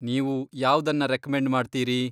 ನೀವು ಯಾವ್ದನ್ನ ರೆಕ್ಮೆಂಡ್ ಮಾಡ್ತೀರಿ ?